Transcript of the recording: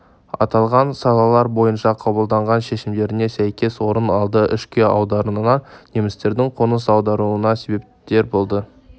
аталған салалар бойынша қабылдаған шешімдеріне сәйкес орын алды ішкі аудандарынан немістердің қоныс аударуына себепкер болды